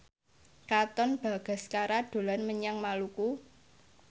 Katon Bagaskara dolan menyang Maluku